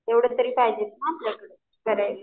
तेवढे तरी पाहिजेत ना आपल्याकडं.